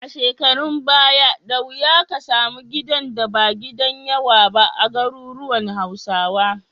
A shekarun baya, da wuya ka samu gidan da ba gidan yawa ba a garuruwan Hausawa.